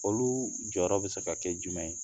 Olu jɔyɔrɔ bɛ se ka kɛ jumɛn ye